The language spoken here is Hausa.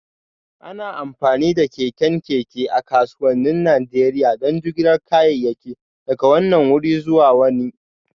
Ana amfani da keken keke a kasuwannin Najeriya don jigilar kayayyaki daga wannan wuri zuwa wani